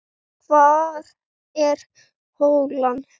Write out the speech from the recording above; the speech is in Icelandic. Hvar er holan?